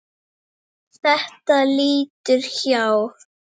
Þetta líður hjá.